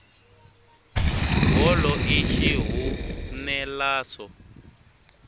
bolo i xihunelaso